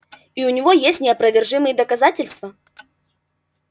и у него есть неопровержимые доказательства